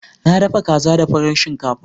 Na dafa kaza da farar shinkafa.